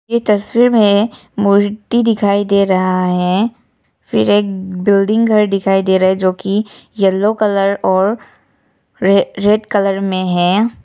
ये तस्वीर में मूर्ति दिखाई दे रहा है फिर एक बिलिंग घर दिखाई दे रहा है जो की येलो कलर और रेड कलर में है।